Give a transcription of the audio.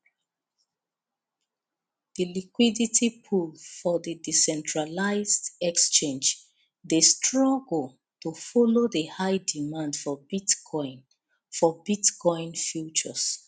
the liquidity pool for the decentralized exchange dey struggle to follow the high demand for bitcoin for bitcoin futures